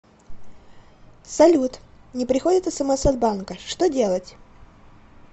салют не приходит смс от банка что делать